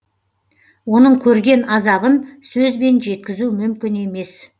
оның көрген азабын сөзбен жеткізу мүмкін емес